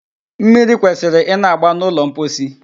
Mmiri kwesịrị ịna-agba n'ụlọ mposi